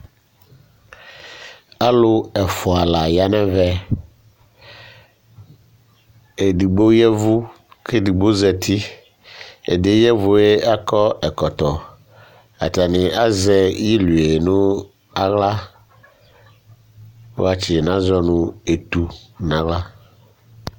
Alu ɛfʋa la ya nʋ ɛvɛ Ɛdigbo yavʋ kʋ ɛdigbo zɛti Ɛdí yɛ yavʋ yɛ akɔ ɛkɔtɔ Atani azɛ iliʋe nʋ aɣla Wati nazɔ yɛ nʋ etu nʋ aɣla